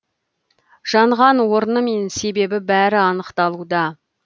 жанған орны мен себебі бәрі анықталуда